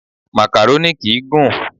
Màkàrónì kìí gùn.